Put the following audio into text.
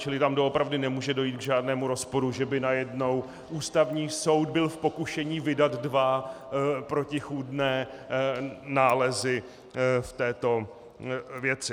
Čili tam doopravdy nemůže dojít k žádnému rozporu, že by najednou Ústavní soud byl v pokušení vydat dva protichůdné nálezy v této věci.